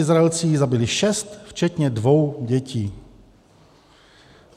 Izraelci jich zabili šest včetně dvou dětí.